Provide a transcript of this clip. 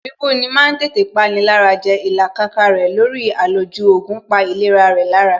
Bíbú ni ma ń tètè pani lára jẹ Ìlàkàkà rẹ̀ lórí àlòjù oògùn pa ìlera rẹ̀ lára